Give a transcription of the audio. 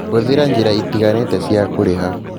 Hũthĩra njĩra itiganĩte cia kũrĩha